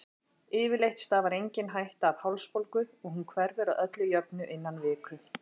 Yfirleitt stafar engin hætta af hálsbólgu og hún hverfur að öllu jöfnu innan viku.